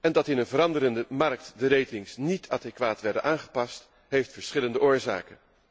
Dat in een veranderende markt de ratings niet adequaat werden aangepast, heeft verschillende oorzaken.